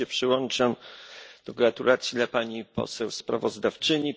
Też się przyłączam do gratulacji dla pani poseł sprawozdawczyni.